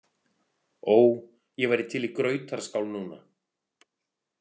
Ó, ég væri til í grautarskál núna